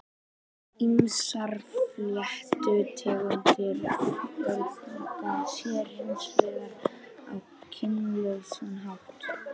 Ýmsar fléttutegundir fjölga sér hins vegar á kynlausan hátt.